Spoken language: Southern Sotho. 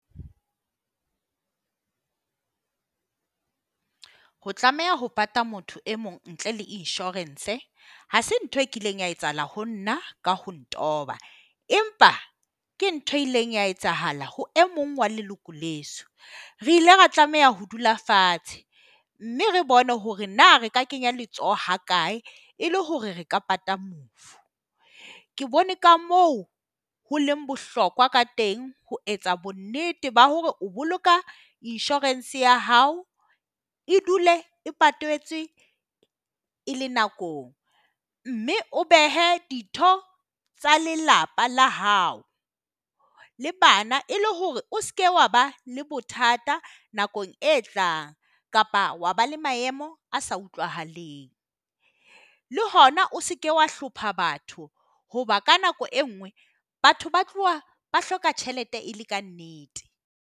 Ho tlameha ho pata motho e mong ntle le insurance ha se ntho e kileng ya etsahala ho nna ka ho ntoba. Empa ke ntho e ileng ya etsahala ho e mong wa leloko leso. Re ile ra tlameha ho dula fatshe, mme re bone hore na re ka kenya letsoho ha kae e le hore re ka pata mofu. Ke bone ka moo ho leng bohlokwa ka teng ho etsa bonnete ba hore o boloka insurance ya hao e dule e patetswe e le nakong. Mme o behe ditho tsa lelapa la hao le bana e le hore o se ke wa ba le bothata nakong e tlang kapa wa ba le maemo a se utlwahaleng. Le hona o se ke wa hlopha batho hoba ka nako e nngwe batho ba tloha ba hloka tjhelete e le ka nnete.